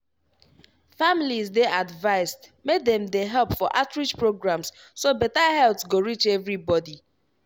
families dey advised make dem dey help for outreach programs so beta health go reach everybody.